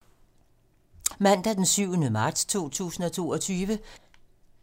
Mandag d. 7. marts 2022